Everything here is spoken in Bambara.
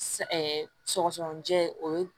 Sa sɔgɔsɔgɔnijɛ o ye